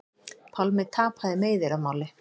Pálmi tapaði meiðyrðamáli